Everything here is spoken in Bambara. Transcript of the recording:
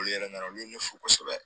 Olu yɛrɛ nana olu ye ne fo kosɛbɛ